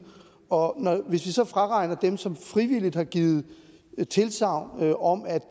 og hvis vi så fraregner dem som frivilligt har givet tilsagn om at